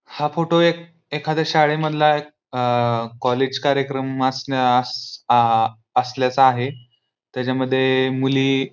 हा फोटो एक एखाद्या शाळे मधला आ कॉलेज कार्यक्रम अस असल्या आ असल्याचा आहे तेच्या मध्ये मुली --